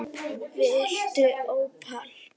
Viltu ópal?